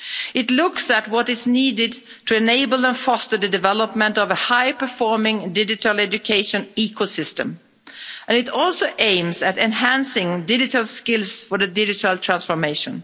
It looks at what is needed to enable and foster the development of a high-performing digital education ecosystem and it also aims at enhancing digital skills for the digital transformation.